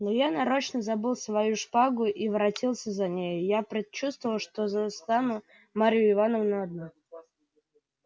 но я нарочно забыл свою шпагу и воротился за нею я предчувствовал что застану марью ивановну одну